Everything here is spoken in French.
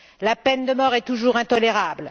La peine de mort est toujours intolérable.